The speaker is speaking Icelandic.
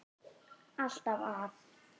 Alltaf að.